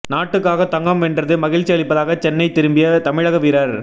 நாட்டுக்காக தங்கம் வென்றது மகிழ்ச்சி அளிப்பதாக சென்னை திரும்பிய தமிழக வீரர்